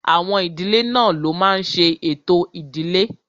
Àwọn ìdílé náà ló máa n ṣe ètò ìdílé